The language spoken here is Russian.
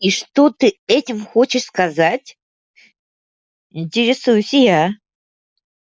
и что ты этим хочешь сказать интересуюсь я